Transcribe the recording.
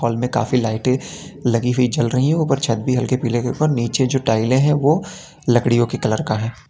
हाल काफी लाइटे लगी हुई जल रही है ऊपर छत भी हल्के पीले के ऊपर नीचे जो टाईले हैं वह लड़कियों के कलर का है।